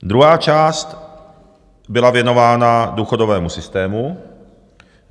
Druhá část byla věnována důchodovému systému.